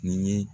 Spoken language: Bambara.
Ni ye